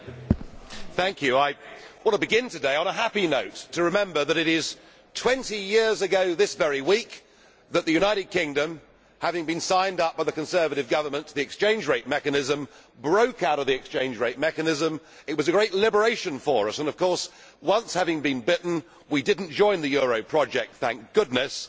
Mr President, I begin today on a happy note remembering that it is 20 years ago this very week since the United Kingdom, having been signed up by the Conservative Government to the Exchange Rate Mechanism, broke out of the ERM. It was a great liberation for us and, of course, once having been bitten we did not join the euro project, thank goodness.